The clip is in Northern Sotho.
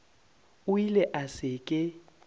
a ile a se ke